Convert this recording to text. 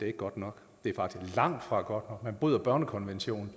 er godt nok det er faktisk langtfra godt nok man bryder børnekonventionen